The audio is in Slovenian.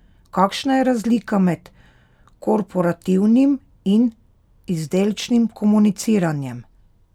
Kakšna je razlika med korporativnim in izdelčnim komuniciranjem?